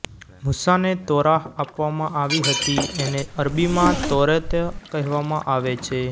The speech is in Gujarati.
મૂસા ને તોરાહ આપવામાં આવી હતી એને અરબીમાં તૌરેત કહેવામાં આવે છે